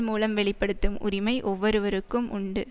மூலம் வெளி படுத்தும் உரிமை ஒவ்வொருவருக்கும் உண்டு